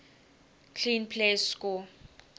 clean plays score